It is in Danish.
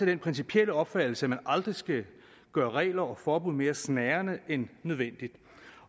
af den principielle opfattelse at man aldrig skal gøre regler og forbud mere snærende end nødvendigt